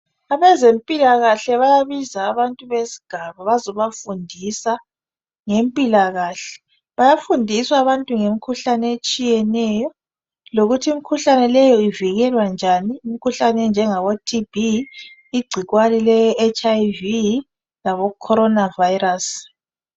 Abezempilakahle baya biza abantu bezobafundisa ngempilakahle bayafundiswa abantu ngemkhuhlane etshiyeneyo lokuthi imkhuhlane leyo ivikelwa njan imhkuhlane enjengabo TB ingcikwane le HIV labo corona varus